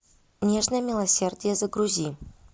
нежное милосердие загрузи